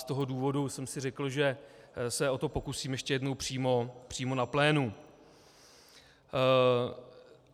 Z toho důvodu jsem si řekl, že se o to pokusím ještě jednou přímo na plénu.